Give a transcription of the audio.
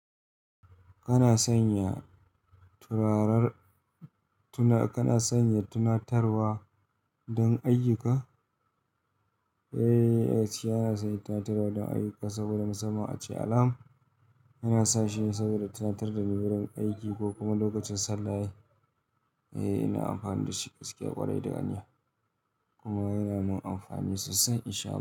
Kana sanya tunatarwa don ayyuka? Eh, yes yana sa itatutar don ayyuka saboda na zama ace alam. Yana sa shi saboda tunatar da ni wurin aiki ko kuma lokacin sallah. Eh, ina amfani da shi gaskiya ƙwarai da ganiyya. Kuma yana mun amfani sosai in sha Allah.